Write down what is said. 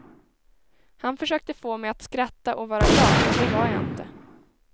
Han försökte få mig att skratta och vara glad men det var jag inte.